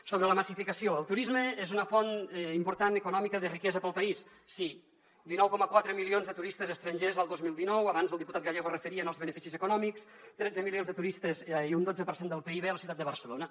sobre la massificació el turisme és una font important econòmica de riquesa per al país sí dinou coma quatre milions de turistes estrangers el dos mil dinou abans el diputat gallego es referia als beneficis econòmics tretze milions de turistes i un dotze per cent del pib a la ciutat de barcelona